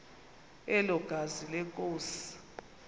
elo gazi lenkosi